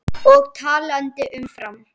Og talandi um Fram.